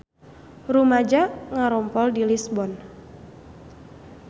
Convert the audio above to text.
Rumaja ngarumpul di Lisbon